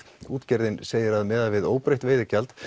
útgerðin segir að miðað við óbreytt veiðigjald